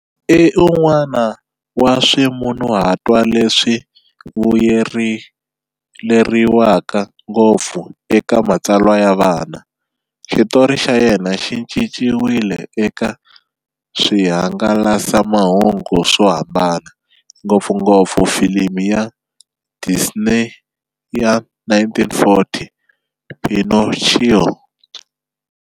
I un'wana wa swimunhuhatwa leswi vuyeleriwaka ngopfu eka matsalwa ya vana. Xitori xa yena xi cinciwile eka swihangalasamahungu swo hambana, ngopfungopfu filimi ya Disney ya 1940"Pinocchio".